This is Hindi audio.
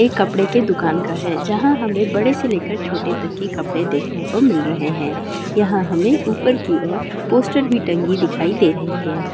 ये कपड़े के दुकान का है यहां हमें बड़े से लेकर छोटे तक के कपड़े देखने को मिल रहे हैं| यहां हमें ऊपर की और पोस्टर भी टंगी हुई दिखाई दे रही है।